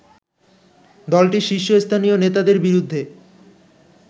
দলটির শীর্ষস্থানীয় নেতাদের বিরুদ্ধে